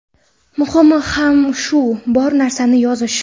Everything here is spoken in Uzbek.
Muhimi ham shu – bor narsani yozish.